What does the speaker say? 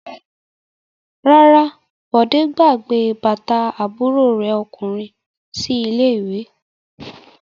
Rárá, Bọ̀dé gbàgbé bàtà àbúrò rẹ̀ ọkùnrin sí ilé-ìwé.